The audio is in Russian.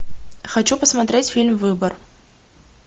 хочу посмотреть фильм выбор